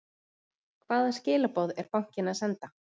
Hvaða skilaboð er bankinn að senda?